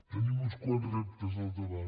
tenim uns quants reptes al davant